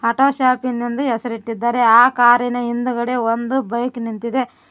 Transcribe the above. Auto shop in ಎಂದು ಹೆಸರಿಟ್ಟಿದ್ದಾರೆ ಆ ಕಾರಿನ ಹಿಂದೆ ಒಂದು ಬೈಕ್ ನಿಂತಿದೆ.